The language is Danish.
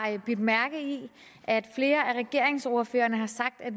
bidt mærke i at flere af regeringsordførerne har sagt at